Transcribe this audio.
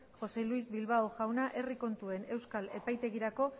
josé luis bilbao jauna herri kontuen euskal epaitegirako